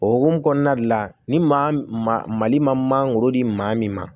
O hukumu kɔnɔna de la ni maa ma mali magoro di maa min ma